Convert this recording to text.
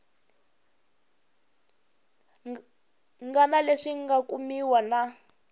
ngana leswi nga kumiwa na